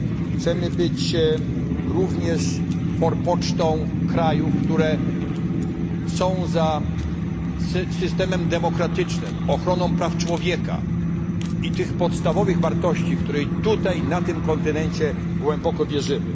Chcielibyśmy również być forpocztą krajów, które opowiadają się za systemem demokratycznym, ochroną praw człowieka i podstawowych wartości, w które tutaj, na tym kontynencie, głęboko wierzymy.